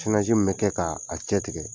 mun bɛ kɛ k'a cɛtigɛ